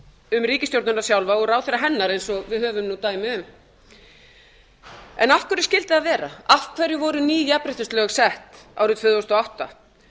um ríkisstjórnina sjálfa og ráðherra hennar eins og við höfum nú dæmi um af hverju skyldi það vera af hverju voru ný jafnréttislög sett árið tvö þúsund og átta